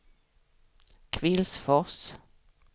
Kvillsfors